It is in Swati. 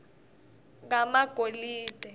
kamagolide